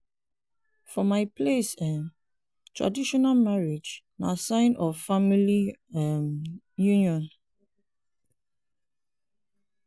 for my place um traditional marriage na sign of family um union.